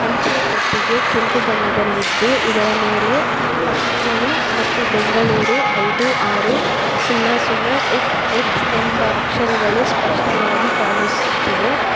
ಅಂಚೆ ಪೆಟ್ಟಿಗೆ ಕೆಂಪು ಬಣ್ಣದಲಿದ್ದು ಇದರ ಮೇಲೆ ಪತ್ರಗಳು ಮತ್ತು ಬೆಂಗಳೂರು ಐದು ಆರು ಸುನ್ನ ಸುನ್ನ ಎಕ್ಸ್ ಎಕ್ಸ್ ಎಂಬ ಅಕ್ಷರಗಳು ಸ್ಪಷ್ಟವಾಗಿ ಕಾಣಿಸುತ್ತಿವೆ.